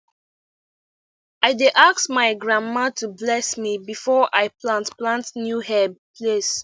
i dey ask my grandma to bless me before i plant plant new herb place